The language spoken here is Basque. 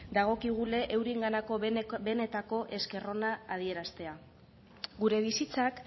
dagokigu eurenganako benetako esker ona adieraztea gure bizitzak